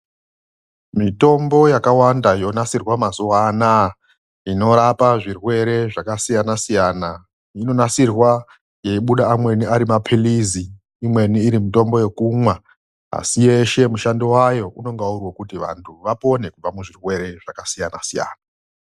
Mitombo yakawanda yonasirwa mazuwa anaa inorapa zvirwere zvakasiyanasiyana inonasirwa yeibuda amweni ari maphirizi, imweni iri mitombo yekumwa. Asi yeshe mushando wayo unonga uri wekuti vantu vapone kubva muzvirwere zvakasiyanasiyana.